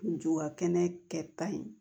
Juba kɛnɛ kɛ ta in